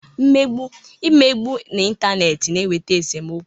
Mmegbu, Imegbu n'intaneeti na-eweta esomokwu.